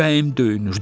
Ürəyim döyünür.